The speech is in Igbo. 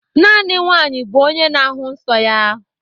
Naanị nwanyị bụ onye na-ahụ nsọ ya.